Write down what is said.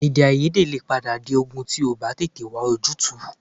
Èdèàìyedè lè padà di ogun tí a ò bá tètè wá ojútùú